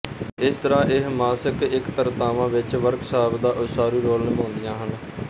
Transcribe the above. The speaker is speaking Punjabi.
ਇਸ ਤਰ੍ਹਾਂ ਇਹ ਮਾਸਿਕ ਇਕੱਤਰਤਾਵਾਂਵਿੱਚ ਵਰਕਸ਼ਾਪ ਦਾ ਉਸਾਰੂ ਰੋਲ ਨਿਭਾਉਂਦੀਆਂ ਹਨ